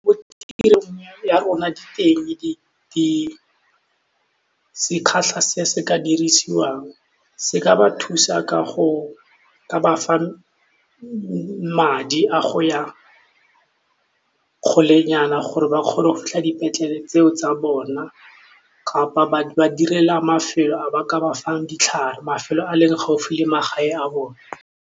Mo tirong ya rona di teng di teng di sekgatlha se se ka dirisiwang, se ka ba thusa ka go ka bafa madi a go ya kgole nyana gore ba kgone go fitlha dipetlele tseo tsa bona kapa ba ba direla mafelo a ba ka ba fang ditlhare mafelo a leng gaufi le magae a bone.